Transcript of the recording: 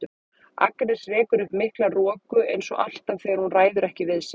Agnes rekur upp mikla roku eins og alltaf þegar hún ræður ekki við sig.